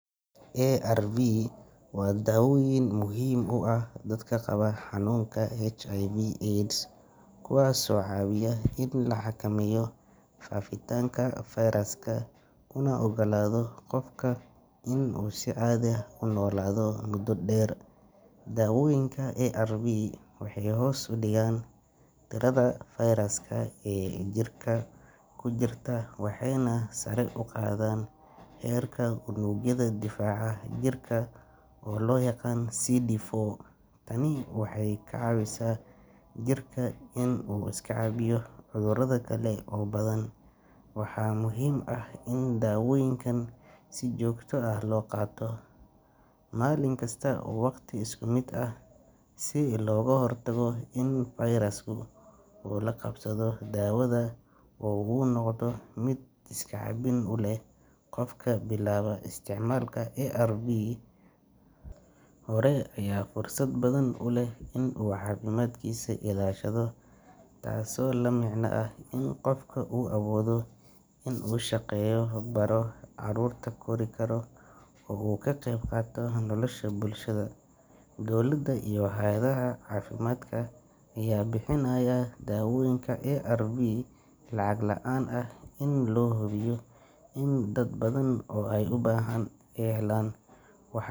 ARV waa daawooyin muhiim u ah dadka qaba xanuunka HIV/AIDS, kuwaasoo caawiya in la xakameeyo faafitaanka fayraska una oggolaada qofka inuu si caadi ah u noolaado muddo dheer. Daawooyinka ARV waxay hoos u dhigaan tirada fayraska ee jirka ku jirta waxayna sare u qaadaan heerka unugyada difaaca jirka oo loo yaqaan CD4. Tani waxay ka caawisaa jirka inuu iska caabiyo cudurrada kale oo badan. Waxaa muhiim ah in daawooyinkan si joogto ah loo qaato, maalin kasta, wakhti isku mid ah, si looga hortago in fayrasku uu la qabsado daawada oo uu noqdo mid iska caabin u leh. Qofka bilaaba isticmaalka ARV hore ayaa fursad badan u leh inuu caafimaadkiisa ilaashado, taasoo la micno ah in qofka uu awoodo inuu shaqeeyo, baro, carruurta kori karo oo uu ka qayb qaato nolosha bulshada. Dowladda iyo hay’adaha caafimaadka ayaa bixinaya daawooyinka ARV lacag la’aan ah si loo hubiyo in dad badan oo u baahan ay helaan. Wa.